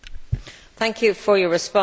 Thank you for your response.